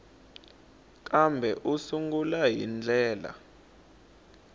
kambe u sungula hi ndlela